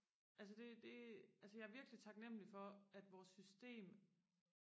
altså det det altså jeg er virkelig taknemmelig for at vores system